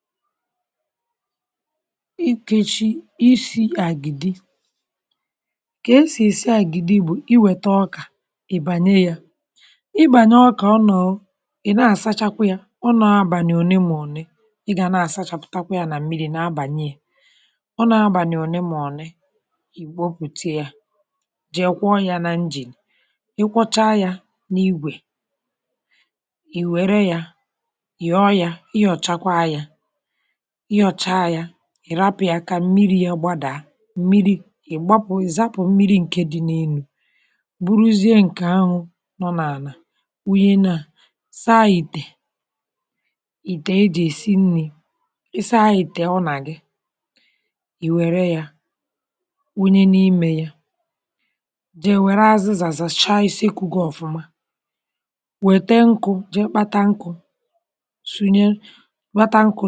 N’ọ̀rụ̀ a a kọ̀wara otú e si èsi àgìdì. Ị́ chọ̀ àgìdì, ị gà-ebu ọkà wụnye yà n’ìmìrì̇. A na-ahapụ ọkà ahụ̀ n’ìmìrì̇ ruo abalị́ ọ̀tụ̀. Mgbe ọ nọ n’ìmìrì̇, a na-asachakwa yà nke ọma ruo mgbe mmírí̇ ahụ̀ ga-adị ọcha. A na-ahapụ yà abalị́ ahụ̀ dum, ma n’ụtụtụ̀ a na-agwọ̀chà yà nke ọma. Mgbe e gọchàrà yà, a na-eji àchàcha ọkà ahụ̀ wepu abụbọ̀ dị n’ime yà. A na-ahapụ yà ka ọ̀ dà n’ìmìrì̇, wee tụpụ̀ mmírí̇ dị n’elu. Ihe dị n’ala bụ̀ àkà ọkà dị ọcha. Mgbe ahụ̀ gasịrị, a na-awunye àkà ọkà ahụ̀ n’ìmè ìtè e ji èsi nri̇. A na-asachakwa ìtè ahụ̀ nke ọma, ma mgbe ọ dị ọcha, a na-awunye ọkà ahụ̀ n’ime yà. A gà-eje kpọọ nkụ̇, gbanye ọkụ̇, wee tinye ìtè ahụ̀ n’elu ọkụ̇. Mgbe ọkà ahụ̀ na-amalite ịkụ̀ ọkụ̇, a na-agbà yà nwayọ nwayọ ka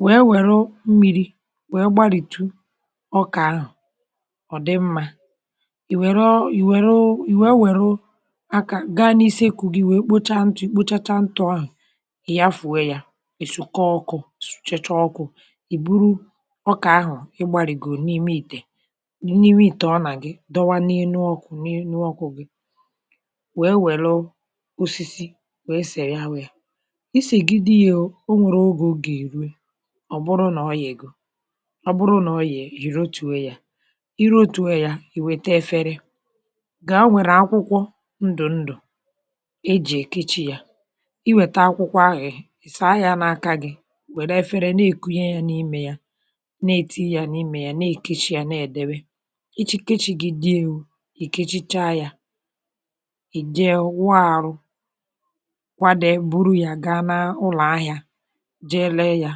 ọ ghara ịkpụ̀pụ̀. Ọ bụrụ nà ọ malitere ịka nkọ̀, a na-agbà yà nke ọma. A na-eji nkụ́tà̀ màọ̀bụ̀ ngaji mee yà. Mgbe ọ ghọtara nke ọma, a na-ewèpu yà n’elu ọkụ̇. Ọ bụrụ nà ọ ka dị mmiri̇, a na-etinye yà azụ̀ n’elu ọkụ̇ ruo mgbe ọ ghọọ̀ àgìdì zuru oke. Mgbe àgìdì ahụ̀ dị njikere, a na-akwà akwụkwọ e ji èkechi yà, dịkà akwụkwọ ndùndù màọ̀bụ̀ akwụkwọ ahù. A na-asachakwa akwụkwọ ndị ahụ̀ nke ọma n’ìmìrì̇ dị ọcha, ma na-awunye àgìdì ahụ̀ ka ọ̀ dị ọkụ n’ime akwụkwọ ahụ̀. A na-àkechi yà nke ọma, tie yà, hapụ̀ yà ka ọ̀ dị jụụ. Mgbe ọ̀ jụrụ̀, ọ̀ ghọọ̀ àgìdì siri ike, dị njikere ị̀rì. A pụ̀kwara ibuga yà n’ahịa, ree yà,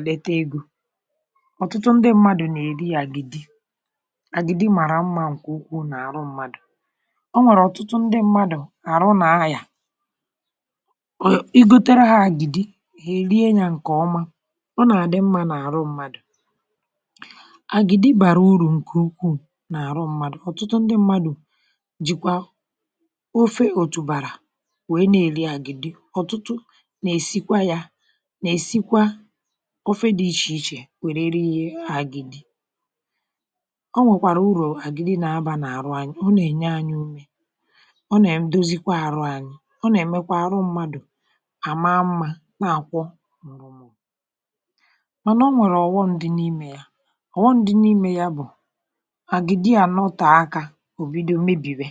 nweta ego. Ọ̀tụtụ̀ mmadụ̀ nà-èrì àgìdì n’ihi nà ọ na-atọ ụtọ, ma na-enye ike n’àrụ mmadụ̀. Ọ na-eme àrụ dị mma, ma na-enyé mmadụ̀ ume. Ụ́fọdụ nà-èrì àgìdì na ofe òtùbàrà, ma Ụ́fọdụ nà-èrì yà naanị. A pụ̀kwara iri yà n’oge ọ̀ bụla n’ụbọchị. Àgìdì bụ ezigbo nri̇. Ọ na-enye ike, na-enyé mmadụ̀ ume, ma na-eme ka àrụ dị mma. Ọ na-enyekwa mmadụ̀ nwayọ mgbe ọ gụsịrị ọrụ̀. Mànà ọ bụrụ nà àgìdì emebiela, ọ na-agba ọsọ ọsọ. Ụ́bọchị ụfọdụ, ọ bụrụ nà a naghị̀ èkechi yà nke ọma, ọ na-agbà, maọ̀bụ̀ e nwere ụmụ̀ nje na-emerụ yà. Mgbe nke ahụ̀ mere, a gaghịzi eri yà. Yà mere, a ghaghị ị̀kwà àgìdì nke ọma na idọ́bà yà n’ebe ọ̀cha ka ọ̀ ghara imebi̇ ngwa ngwa ma bụrụ ezigbo nri̇ dị mma.